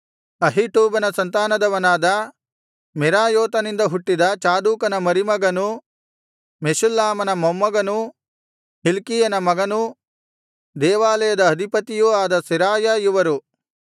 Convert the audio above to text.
ಅಹೀಟೂಬನ ಸಂತಾನದವನಾದ ಮೆರಾಯೋತನಿಂದ ಹುಟ್ಟಿದ ಚಾದೋಕನ ಮರಿಮಗನೂ ಮೆಷುಲ್ಲಾಮನ ಮೊಮ್ಮಗನೂ ಹಿಲ್ಕೀಯನ ಮಗನೂ ದೇವಾಲಯದ ಅಧಿಪತಿಯೂ ಆದ ಸೆರಾಯ ಇವರು